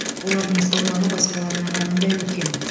олардың салмағы басқаларына қарағанда үлкен